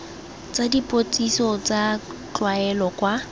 tsa dipotsiso tsa tlwaelo kwa